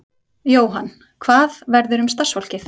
Jóhann: Hvað verður um starfsfólkið?